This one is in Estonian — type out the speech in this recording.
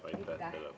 Aitäh!